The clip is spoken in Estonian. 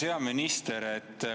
Hea minister!